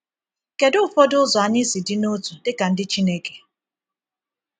Kedu ụfọdụ ụzọ anyị si dị n’otu dị ka ndị Chineke?